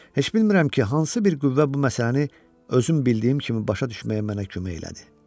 Heç bilmirəm ki, hansı bir qüvvə bu məsələni özüm bildiyim kimi başa düşməyə mənə kömək elədi.